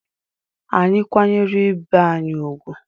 Anyị kwanyere ibe anyị ùgwù.